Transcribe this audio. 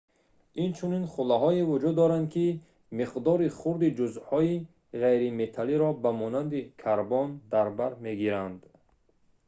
инчунин хӯлаҳое вуҷуд доранд ки миқдори хурди ҷузъҳои ғайриметаллиро ба монанди карбон дар бар мегиранд